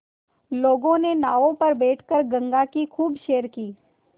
लोगों के नावों पर बैठ कर गंगा की खूब सैर की